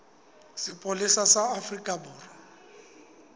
sa sepolesa sa afrika borwa